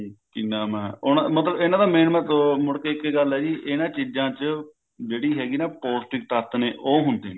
ਕਿ ਨਾਮ ਹੈ ਉਹਨਾਂ ਮਤਲਬ ਇਹਨਾਂ ਦਾ main ਮਤਲਬ ਮੁੜ ਕੇ ਇੱਕ ਗੱਲ ਹੈ ਜੀ ਇਹਨਾਂ ਚੀਜਾਂ ਚ ਜਿਹੜੀ ਹੈਗੀ ਨਾ ਪੋਸਟਿਕ ਤੱਤ ਨੇ ਉਹ ਹੁੰਦੇ ਨੇ